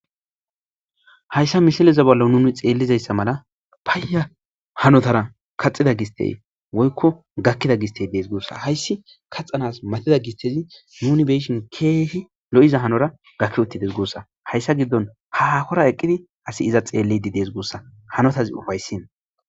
hayssa mishileza bollo nuni xeellizayssa mala paayya hanotara kaxida gistey woykko gakkida gistey dees guussa hayssi kaxxanas matida gistezi nuni beyishin keehi lo7iza hanora gakki uttides guussa hayssa giddon hakora eqqidi asi iza xeellidi dees gussa hanotazi ufayssin